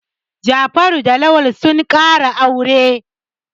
Jafaru da Lawal sun ƙara aure.